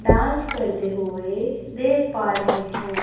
Dance करते हुए देख पा रहे हैं।